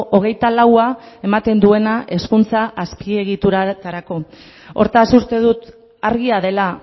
hogeita laua ematen duena hezkuntza azpiegiturarako hortaz uste dut argia dela